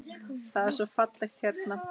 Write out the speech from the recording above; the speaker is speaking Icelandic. Það er svo fallegt hérna.